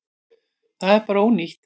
Það er bara ónýtt.